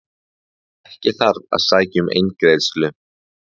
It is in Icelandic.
Ekki þarf að sækja um eingreiðslu